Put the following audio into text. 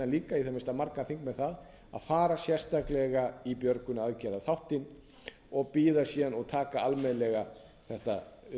líka í það minnsta marga þingmenn þar að fara sérstaklega í björgunaraðgerðaþáttinn og bíða síðan og taka almennilega þetta